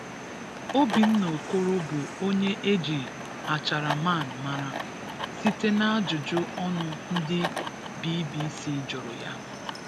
Obinna Okoro bụ onye e ji 'Achara Man' mara, site n’ajụjụ ọnụ ndị BBC jụrụ ya